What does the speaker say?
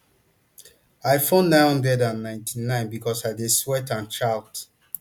i phone nine hundred and ninety-nine becos i dey sweat and shout